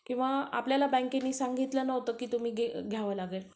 किंवा आपल्याला बँकेने सांगितलं नव्हतं की तुम्हाला घ्यावी लागेल